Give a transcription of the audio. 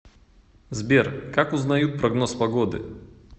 сбер как узнают прогноз погоды